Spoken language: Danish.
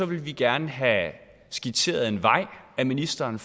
vi gerne have skitseret en vej af ministeren